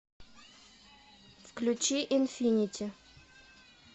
включи инфинити